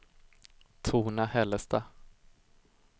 Torna-Hällestad